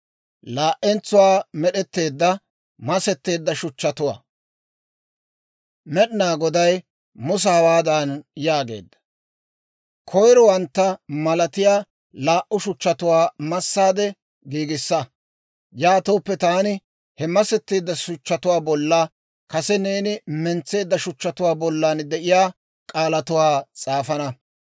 Med'inaa Goday Musa hawaadan yaageedda; «Koyrowantta malatiyaa laa"u shuchchatuwaa massaade giigissa; yaatooppe taani he masetteedda shuchchatuwaa bolla kase neeni mentseedda shuchchatuwaa bollan de'iyaa k'aalatuwaa s'aafana.